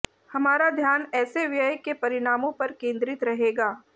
हमारा ध्यान ऐसे व्यय के परिणामों पर केंद्रित रहेगा